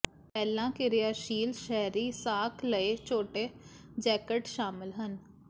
ਪਹਿਲਾਂ ਕਿਰਿਆਸ਼ੀਲ ਸ਼ਹਿਰੀ ਸਾਕ ਲਈ ਛੋਟੇ ਜੈਕਟ ਸ਼ਾਮਲ ਹਨ